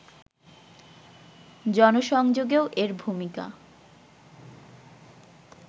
জনসংযোগেও এর ভূমিকা